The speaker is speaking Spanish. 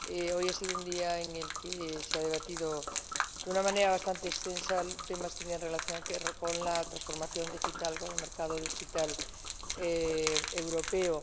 Hoy ha sido un día en el que se han debatido de una manera bastante extensa temas que tenían relación con la transformación digital, con el mercado digital europeo.